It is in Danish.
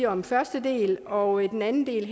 om første del og ved den anden del